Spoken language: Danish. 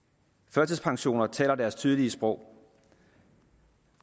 førtidspensioner taler deres tydelige sprog